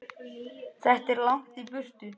Þetta er langt í burtu.